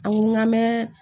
An ko n ka mɛn